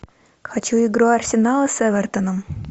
хочу игру арсенала с эвертоном